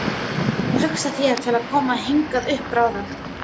Hugsið þér til að koma hingað upp bráðum?